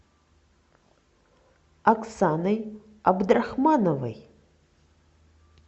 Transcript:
оксаной абдрахмановой